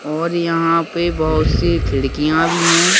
और यहाँ पे बहुत सी खिड़कियां भी हैं।